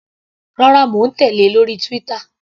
Rárá, mò ń tèlé lórí Twitter.